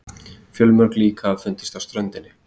Fjölmörg lík hafa fundist á ströndinni